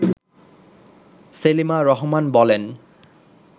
সেলিমা রহমান বলেন